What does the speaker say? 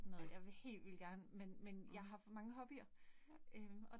Ja. Mh. Ja